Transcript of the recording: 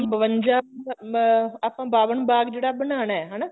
ਬਵੰਜਾ ਅਮ ਅਹ ਆਪਾਂ ਬਾਵਨ ਬਾਗ ਜਿਹੜਾ ਬਨਾਣਾ ਹਨਾ